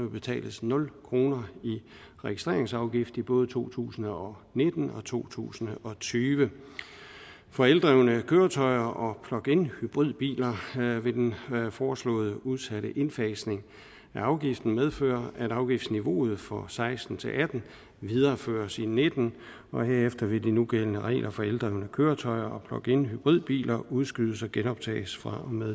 betales nul kroner i registreringsafgift i både to tusind og nitten og to tusind og tyve for eldrevne køretøjer og plugin hybridbiler vil den foreslåede udsatte indfasning af afgiften medføre at afgiftsniveauet for to og seksten til atten videreføres i og nitten og herefter vil de nugældende regler for eldrevne køretøjer og plugin hybridbiler udskydes og genoptages fra og med